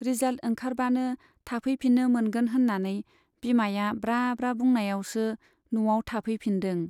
Result ओंखारबानो थाफैफिन्नो मोनगोन होन्नानै बिमाया ब्रा ब्रा बुंनायावसो न'आव थाफैफिन्दों।